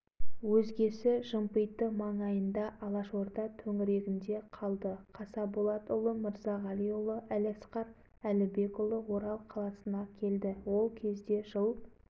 ипмағамбетұлы қаратілеуұлы кенжеұлы темірге барып біраздан соң орыстармен бірігіп совдеп ашып жымпитыдағы алашордаға бағынбай әрекет қылып жатты